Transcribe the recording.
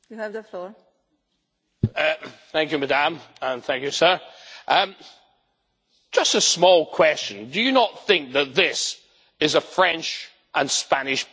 Just a small question do you not think that this is a French and Spanish plot to keep control of British fishing waters after Brexit?